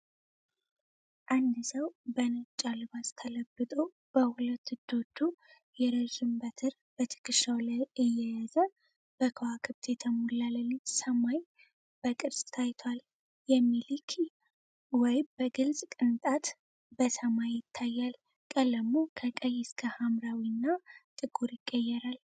አንድ ሰው በነጭ አልባስ ተለብጦ በሁለት እጆቹ የረዥም በትር በትከሻው ላይ እየያዘ በከዋክብት የተሞላ ሌሊት ሰማይ በቅርጽ ታይቷል። የሚሊኪ ዌይ በግልጽ ቅንጣት በሰማይ ይታያል፣ ቀለሙ ከቀይ እስከ ሐምራዊ እና ጥቁር ይቀየራል።